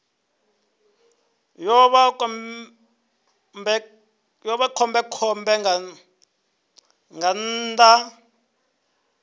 ḓo vha khombekhombe nga nnḓa